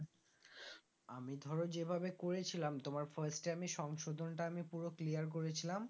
আমি ধরো যেভাবে করেছিলাম তোমার first time ই সংশোধনটা আমি পুরো clear করেছিলাম